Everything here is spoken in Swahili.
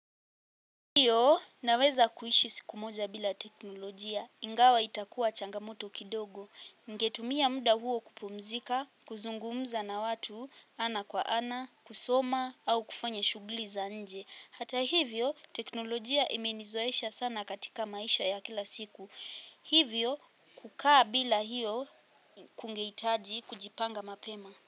Ndiyo, naweza kuishi siku moja bila teknolojia, ingawa itakuwa changamoto kidogo, ningetumia muda huo kupumzika, kuzungumza na watu, ana kwa ana, kusoma, au kufanya shuguli za nje. Hata hivyo, teknolojia imenizoesha sana katika maisha ya kila siku. Hivyo, kukaa bila hiyo kungeitaji, kujipanga mapema.